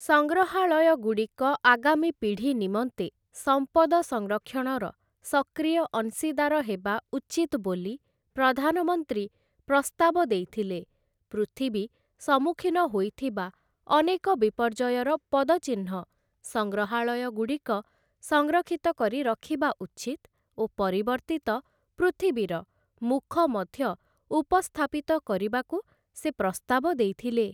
ସଂଗ୍ରହାଳୟଗୁଡ଼ିକ ଆଗାମୀ ପିଢ଼ି ନିମନ୍ତେ ସମ୍ପଦ ସଂରକ୍ଷଣର ସକ୍ରିୟ ଅଂଶୀଦାର ହେବା ଉଚିତ୍ ବୋଲି ପ୍ରଧାନମନ୍ତ୍ରୀ ପ୍ରସ୍ତାବ ଦେଇଥିଲେ ପୃଥିବୀ ସମ୍ମୁଖିନ ହୋଇଥିବା ଅନେକ ବିପର୍ଯ୍ୟୟର ପଦଚିହ୍ନ ସଂଗ୍ରହାଳୟଗୁଡ଼ିକ ସଂରକ୍ଷିତ କରି ରଖିବା ଉଚିତ୍ ଓ ପରିବର୍ତ୍ତିତ ପୃଥିବୀର ମୁଖ ମଧ୍ୟ ଉପସ୍ଥାପିତ କରିବାକୁ ସେ ପ୍ରସ୍ତାବ ଦେଇଥିଲେ ।